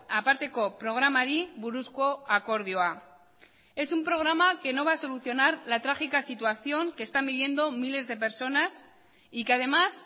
aparteko programari buruzko akordioa es un programa que no va a solucionar la trágica situación que están viviendo miles de personas y que además